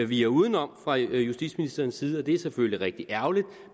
viger udenom fra justitsministerens side og det er selvfølgelig rigtig ærgerligt